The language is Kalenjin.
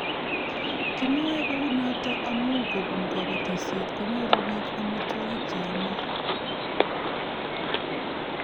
Kimwoe kounoto amu kobun kobotisiet konyoru bik amitwogik che yamei